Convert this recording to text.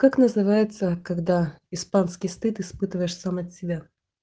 как называется когда испанский стыд испытываешь сам от себя